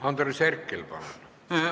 Andres Herkel, palun!